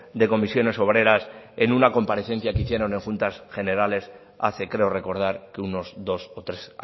de comisiones obreras en una comparecencia que hicieron en juntas generales hace creo recordar que unos dos o tres